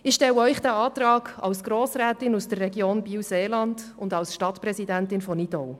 Ich stelle den Antrag als Grossrätin aus der Region Biel/Seeland und als Stadtpräsidentin von Nidau.